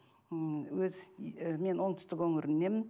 ммм өз мен оңтүстік өңіріненмін